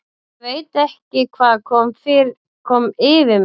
ÉG VEIT ekki hvað kom yfir mig.